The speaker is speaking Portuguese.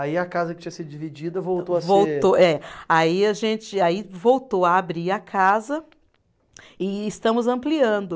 Aí a casa que tinha sido dividida voltou a ser. Voltou, é. Aí a gente, aí voltou a abrir a casa e estamos ampliando.